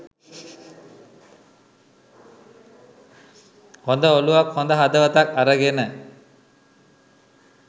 හොඳ ඔළුවක් හොඳ හදවතක් අරගෙන.